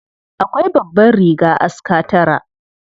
Akwai babbar riga aska tara.